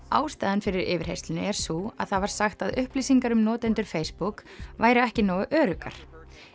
ástæðan fyrir yfirheyrslunni er sú að það var sagt að upplýsingar um notendur Facebook væru ekki nógu öruggar